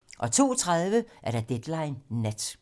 TV 2